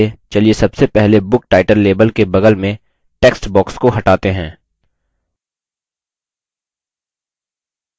इसके लिए चलिए सबसे पहले book title label के बगल में text box को हटाते हैं